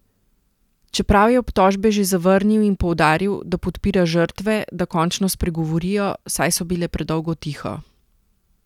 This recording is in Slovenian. Čeprav je obtožbe že zavrnil in poudaril, da podpira žrtve, da končno spregovorijo, saj so bile predolgo tiho.